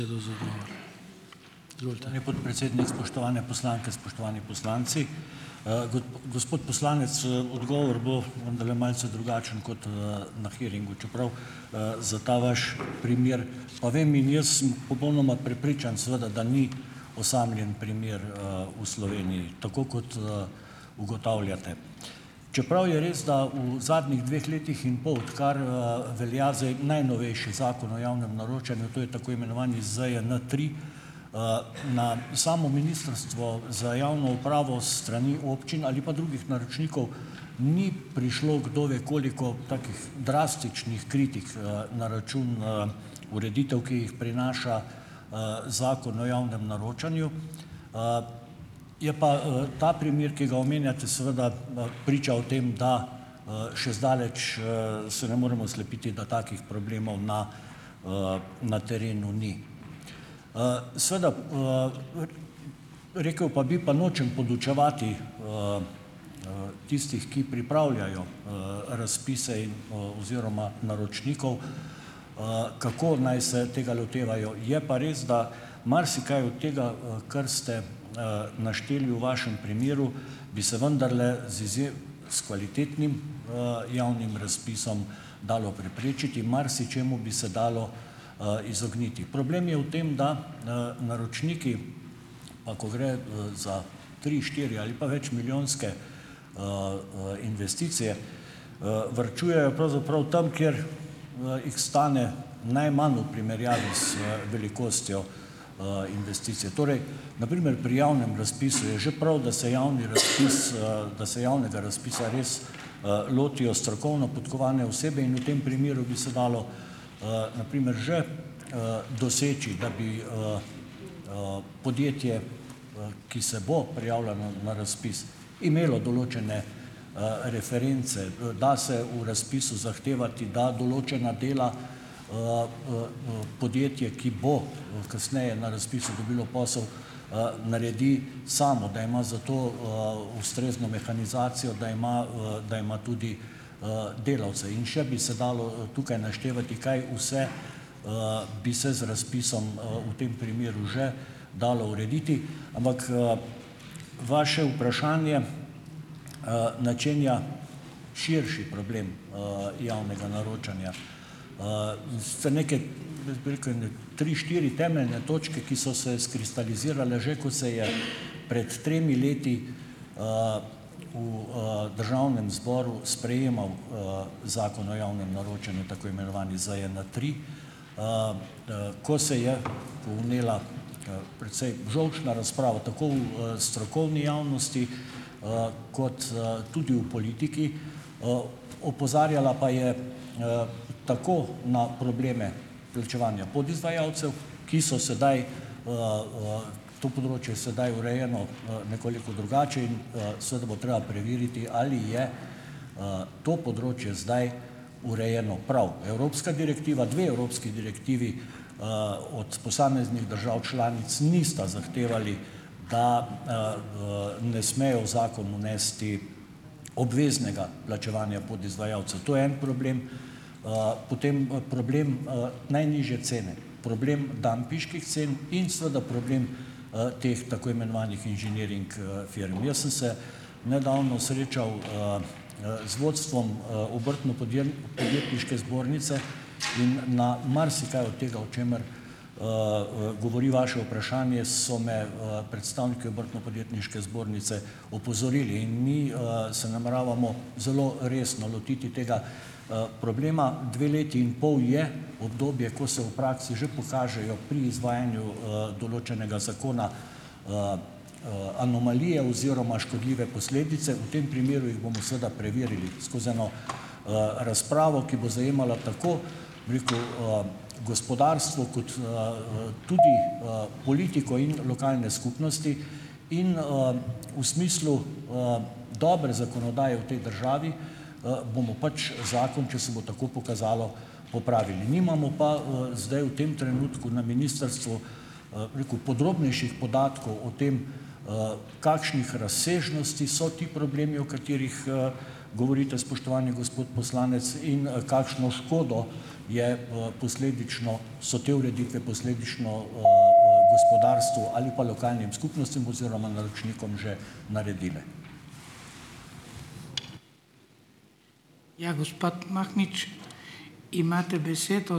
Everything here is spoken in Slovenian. Podpredsednik, spoštovane poslanke, spoštovani poslanci. gospod poslanec, odgovor bo vendarle malce drugačen, kot na hearingu, čeprav, za ta vaš primer pa vem in jaz sem popolnoma prepričan, seveda, da ni osamljen primer v Sloveniji, tako kot ugotavljate. Čeprav je res, da v zadnjih dveh letih in pol, odkar velja zdaj najnovejši Zakon o javnem naročanju, to je tako imenovani ZJN tri, na samo Ministrstvo za javno upravo s strani občin ali pa drugih naročnikov, ni prišlo, kdo ve koliko takih drastičnih kritik na račun ureditev, ki jih prinaša Zakon o javnem naročanju, je pa ta primer, ki ga omenjate, seveda, priča o tem, da še zdaleč se ne moremo slepiti, da takih problemov na na terenu ni. Seveda, rekel pa bi, pa nočem podučevati tistih, ki pripravljajo razpise in oziroma naročnikov, kako naj se tega lotevajo, je pa res, da marsikaj od tega, kar ste našteli v vašem primeru, bi se vendarle z izjem s kvalitetnim javnim razpisom dalo preprečiti, marsičemu bi se dalo izogniti. Problem je v tem, da naročniki ako gre za tri-, štiri- ali večmilijonske investicije, varčujejo pravzaprav tam, kjer jih stane najmanj v primerjavi z velikostjo investicije. Torej, na primer pri javnem razpisu je že prav, da se javni razpis, da se javnega razpisa res lotijo strokovno podkovane osebe in v tem primeru bi se dalo na primer že doseči, da bi podjetje, ki se bo prijavilo na razpis, imelo določene reference. Da se v razpisu zahtevati, da določena dela podjetje, ki bo kasneje na razpisu dobilo posel, naredi samo, da ima za to ustrezno mehanizacijo, da ima da ima tudi delavce in še bi se dalo tukaj naštevati, kaj vse bi se z razpisom v tem primeru že dalo urediti. Ampak vaše vprašanje načenja širši problem javnega naročanja. In sicer nekaj, jaz bi rekel ene tri, štiri temeljne točke, ki so se skristalizirale že, ko se je prej tremi leti v Državnem zboru sprejemal Zakon o javnem naročanju, tako imenovani ZJN tri, ko se je vnela precej žolčna razprava, tako v strokovni javnosti kot tudi v politiki, opozarjala pa je tako na probleme plačevanja podizvajalcev. Ki so sedaj ... To področje je sedaj urejeno nekoliko drugače in seveda bo treba preveriti, ali je to področje zdaj urejeno prav. Evropska direktiva, dve evropski direktivi od posameznih držav članic nista zahtevali, da ne smejo v zakon vnesti obveznega plačevanja podizvajalcev. To je en problem. Potem problem najnižje cene, problem dampinških cen in seveda problem teh tako imenovanih inženiring firm. Jaz sem se nedavno srečal z vodstvom Obrtno-podjet() podjetniške zbornice in na marsikaj od tega, o čemer govori vaše vprašanje, so me predstavniki Obrtno-podjetniške zbornice opozorili. In mi se nameravamo zelo resno lotiti tega problema. Dve leti in pol je obdobje, ko se v praksi že pokažejo pri izvajanju določenega zakona anomalije oziroma škodljive posledice. V tem primeru jih bomo seveda preverili skozi eno razpravo, ki bo zajemala tako, bi rekel, gospodarstvo kot tudi politiko in lokalne skupnosti. In v smislu dobre zakonodaje v tej državi bomo pač zakon, če se bo tako pokazalo, popravili. Nimamo pa zdaj v tem trenutku na ministrstvu, bom rekel, podrobnejših podatkov o tem, kakšnih razsežnosti so ti problemi, o katerih govorite, spoštovani gospod poslanec, in kakšno škodo je posledično, so te ureditve posledično gospodarstvu ali pa lokalnim skupnostim oziroma naročnikom že naredile.